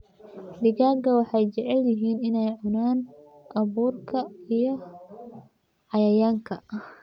Digaagga waxay jecel yihiin inay cunaan abuurka iyo cayayaanka.